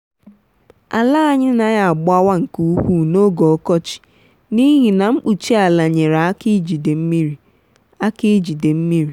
ala anyị naghị agbawa nke ukwuu n’oge ọkọchị n’ihi na mkpuchi ala nyere aka ijide mmiri. aka ijide mmiri.